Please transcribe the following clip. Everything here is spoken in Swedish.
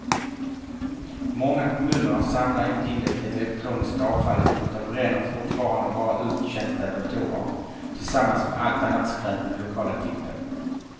Många kommuner samlar inte in det elektroniska avfallet utan bränner fortfarande bara uttjänta datorer tillsammans med allt annat skräp på den lokala tippen.